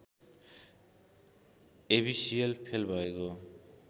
एबिसिएल fail भएको